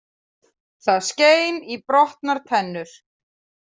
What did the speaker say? Það skein í brotnar tennur.